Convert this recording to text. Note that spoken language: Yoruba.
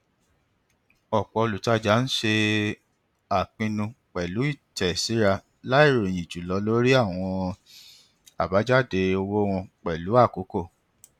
ọpọ olùtajà ń ṣe àpinnu pẹlú ìtẹsíra láì ròyìn jùlọ lórí àwọn abajade owó wọn pẹlú àkókò